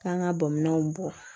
K'an ka bamananw bɔ